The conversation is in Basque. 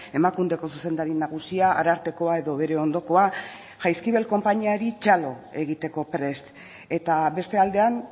emakundeko zuzendari nagusia arartekoa edo bere ondokoa jaizkibel konpainiari txalo egiteko prest eta beste aldean